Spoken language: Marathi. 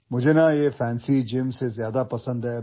मला या भपकेदार व्यायामशाळा अजिबात आवडत नाहीत